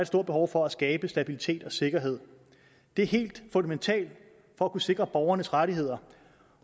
stort behov for at skabe stabilitet og sikkerhed det er helt fundamentalt for at kunne sikre borgernes rettigheder